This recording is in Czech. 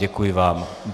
Děkuji vám.